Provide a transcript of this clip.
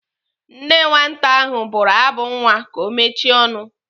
Nne nwata ahụ bụrụ abụ nwa ka ọ mechie ọnụ.